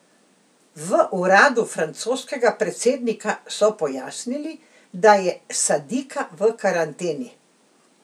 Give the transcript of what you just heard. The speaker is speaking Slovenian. V uradu francoskega predsednika so pojasnili, da je sadika v karanteni.